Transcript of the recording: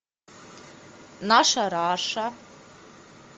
наша раша